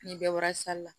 Ni bɛɛ bɔra la